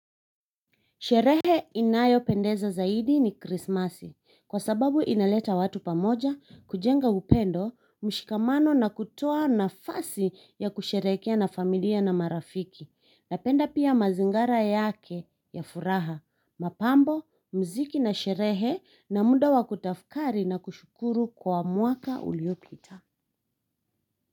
Sherehe inayopendeza zaidi ni krismasi. Kwa sababu inaleta watu pamoja, kujenga upendo, mshikamano na kutoa nafasi ya kusherehekea na familia na marafiki. Napenda pia mazingara yake ya furaha, mapambo, mziki na sherehe na muda wa kutafakari na kushukuru kwa mwaka uliopita.